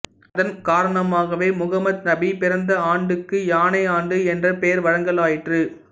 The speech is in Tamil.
அதன் காரணமாகவே முகம்மது நபி பிறந்த ஆண்டுக்கு யானை ஆண்டு என்ற பெயர் வழங்கலாயிற்று